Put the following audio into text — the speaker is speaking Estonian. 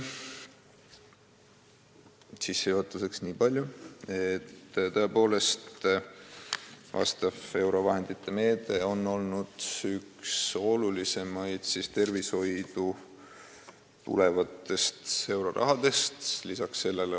Sissejuhatuseks aga nii palju, et tõepoolest on see euroliidu meede olnud üks olulisimaid, mille raames suunatakse tervishoidu tulevat Euroopa Liidu raha.